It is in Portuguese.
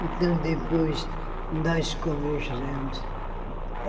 Então, depois, nós conversamos.